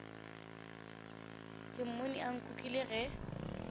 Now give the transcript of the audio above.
ke mmone a nkukile ge